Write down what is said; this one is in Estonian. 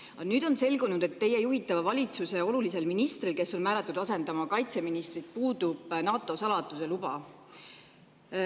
Aga nüüd on selgunud, et teie juhitava valitsuse olulisel ministril, kes on määratud asendama kaitseministrit, puudub NATO saladuse luba.